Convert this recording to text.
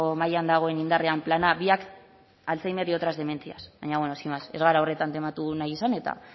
mahaian dagoen indarrean plana biak alzhéimer y otras demencias baina bueno sin más ez gara horretan tematu nahi izan eta